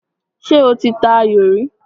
Ṣé o ti ta ayò rí?